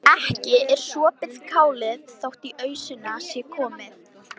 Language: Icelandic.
En ekki er sopið kálið þótt í ausuna sé komið.